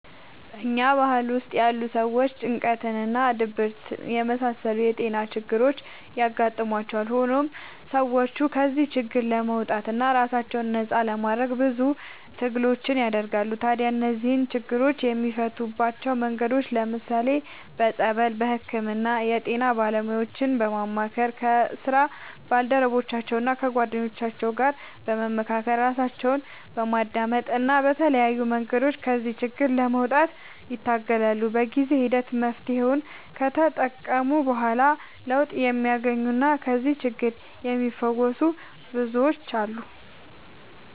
በኛ ባህል ውስጥ ያሉ ሰዎች ጭንቀት እና ድብርት የመሳሰሉት የጤና ችግሮች ያጋጥሟቸዋል። ሆኖም ሰዎቹ ከዚህ ችግር ለመውጣትና ራሳቸውን ነፃ ለማድረግ ብዙ ትግሎችን ያደርጋሉ። ታዲያ እነዚህን ችግሮች የሚፈቱባቸው መንገዶች ለምሳሌ፦ በፀበል፣ በህክምና፣ የጤና ባለሙያዎችን በማማከር፣ ከስራ ባልደረቦቻቸው እና ከጓደኞቻቸው ጋር በመካከር፣ ራሳቸውን በማዳመጥ እና በተለያዩ መንገዶች ከዚህ ችግር ለመውጣት ይታገላሉ። በጊዜ ሂደት መፍትሔውን ከተጠቀሙ በኋላ ለውጥ የሚያገኙና ከዚህ ችግር የሚፈወሱ ብዙዎች አሉ።